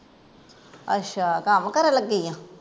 ਅੱਛਾ, ਕੱਮ ਕਰਨ ਲੱਗੀ ਆਂ?